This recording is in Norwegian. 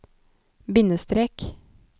bindestrek